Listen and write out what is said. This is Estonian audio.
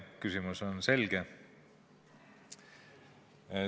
Küsimus on selge.